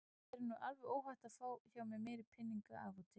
Þér er nú alveg óhætt að fá hjá mér meiri peninga af og til.